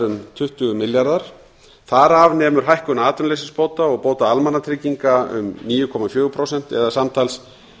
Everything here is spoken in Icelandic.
um tuttugu milljarðar þar af nemur hækkun atvinnuleysisbóta og bóta almannatrygginga um níu komma fjögur prósent samtals